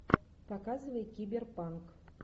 показывай киберпанк